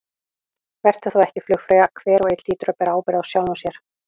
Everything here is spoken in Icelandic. Vertu þá ekki flugfreyja, hver og einn hlýtur að bera ábyrgð á sjálfum sér.